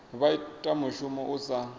vha ita mushumo u sa